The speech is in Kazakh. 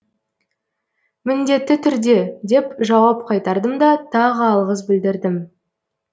міндетті түрде деп жауап қайтардым да тағы алғыс білдірдім